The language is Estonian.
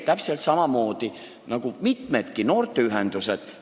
Täpselt samamoodi on lugu mitmegi noorteühendusega.